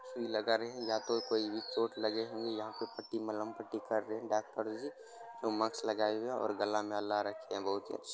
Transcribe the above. सुई लगा रहे है या तो कोई भी चोट लगे हुए यहाँ पे पट्टी मलहम पट्टी कर रहे हैं डॉक्टर जी जो मास्क लगाए हुए है और गला में बहोत ही --